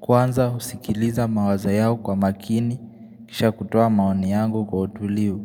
Kwanza husikiliza mawazo yao kwa makini kisha kutoa maoni yangu kwa utulivu.